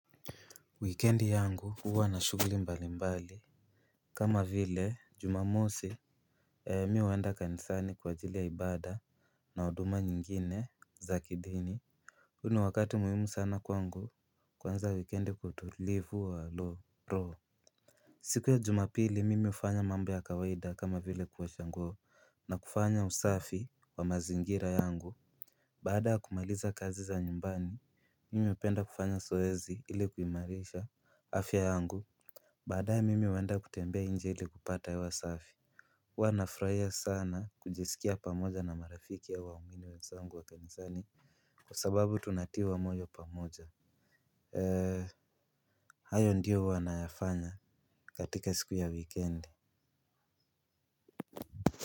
Wikendi yangu huwa na shughuli mbali mbali. Kama vile juma mosi mi huenda kanisani kwa ajili ya ibada na huduma nyingine za kidini. Huo ni wakati muhimu sana kwangu kuanza wikendi kwa utulivu wa roho. Siku ya juma pili mimi ufanya mambo ya kawaida kama vile kuosha nguo na kufanya usafi wa mazingira yangu. Baada ya kumaliza kazi za nyumbani mimi hupenda kufanya zoezi ili kuimarisha afya yangu. Baadaye mimi huenda kutembea nje ili kupata hewa safi huwa nafurahia sana kujisikia pamoja na marafiki au waumini wenzangu wa kanisani. Kwa sababu tunatiwa moyo pamoja. Eee. Hayo ndiyo huwa nayafanya katika siku ya weekend.